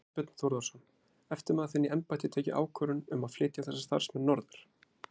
Þorbjörn Þórðarson: Eftirmaður þinn í embætti tekið ákvörðun um að flytja þessa starfsmenn norður?